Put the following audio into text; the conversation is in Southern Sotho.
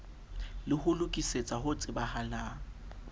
le ho lokisetsa ho tsebahatsa